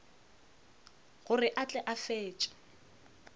gore a tle a fetše